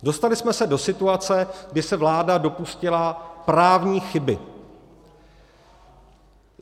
Dostali jsme se do situace, kdy se vláda dopustila právní chyby.